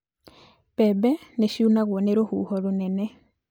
Mbebe nĩciunagwo nĩ rũhuho rũnene